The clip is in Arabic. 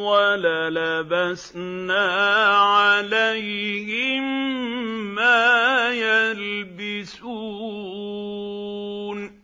وَلَلَبَسْنَا عَلَيْهِم مَّا يَلْبِسُونَ